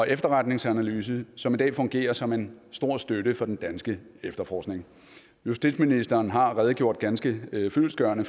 efterretningsanalyse som i dag fungerer som en stor støtte for den danske efterforskning justitsministeren har redegjort ganske fyldestgørende